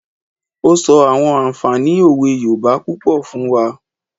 Ó sọ àwọn ànfààní òwe yoòbá púpọ̀ fún wa